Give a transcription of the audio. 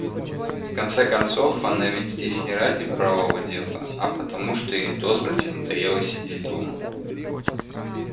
в конце концов она ведь здесь не ради правого дела а потому что ей до смерти надоело сидеть дома